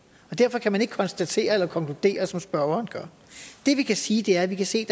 derfor kan man ikke konstatere eller konkludere som spørgeren gør det vi kan sige er at vi kan se